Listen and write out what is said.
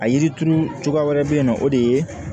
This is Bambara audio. A yiri turu cogoya wɛrɛ bɛ yen nɔ o de ye